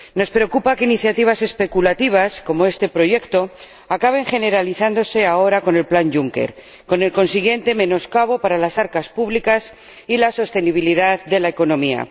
Nos preocupa que iniciativas especulativas —como este proyecto— acaben generalizándose ahora con el Plan Juncker, con el consiguiente menoscabo para las arcas públicas y la sostenibilidad de la economía.